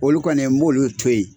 Olu kɔni ye n b'olu to ye.